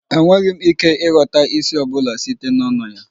Enweghị m ike ịghọta ísì ọ bụla site n'ọnụ ya